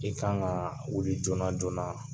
I ka kan ka wuli joona joona.